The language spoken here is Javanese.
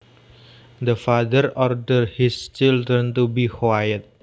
The father ordered his children to be quiet